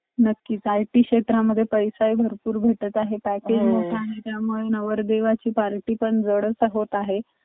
आणि तिचे पूर्ण snow पडलेला असायचा पूर्ण त्या ड rosakhutor ला नि आम्ही वरतीपर्यंत गेलो होतो ropeway ने आम्ही आणि एवढं छान होतं ते एवढं भारी वाटलं तिथे आम्हाला खूप जास्ती amazing होतं ते rosakhutor चा experince